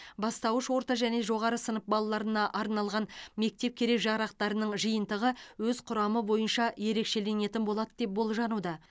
бастауыш орта және жоғары сынып балаларына арналған мектеп керек жарақтарының жиынтығы өз құрамы бойынша ерекшеленетін болады деп болжануда